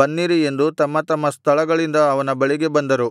ಬನ್ನಿರಿ ಎಂದು ತಮ್ಮ ತಮ್ಮ ಸ್ಥಳಗಳಿಂದ ಅವನ ಬಳಿಗೆ ಬಂದರು